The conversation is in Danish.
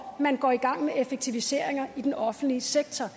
man går i gang med effektiviseringer i den offentlige sektor